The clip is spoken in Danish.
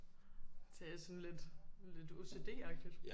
Det er sådan lidt lidt OCD agtigt